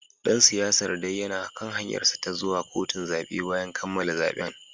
Dan siyasar dai yana kan hanyarsa ta zuwa kotun zabe bayan kammala zaben